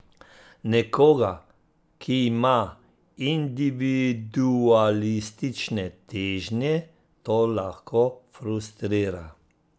Nekoga, ki ima individualistične težnje, to lahko frustrira.